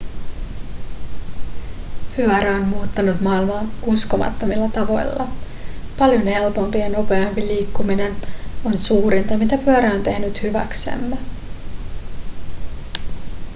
pyörä on muuttanut maailmaa uskomattomilla tavoilla paljon helpompi ja nopeampi liikkuminen on suurinta mitä pyörä on tehnyt hyväksemme